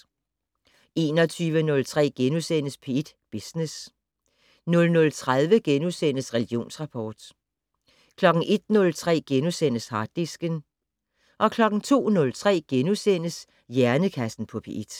21:03: P1 Business * 00:30: Religionsrapport * 01:03: Harddisken * 02:03: Hjernekassen på P1 *